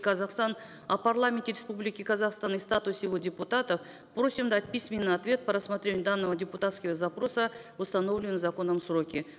казахстан о парламенте республики казахстан и статусе его депутатов просим дать письменный ответ по рассмотрению данного депутатского запроса в установленные законом сроки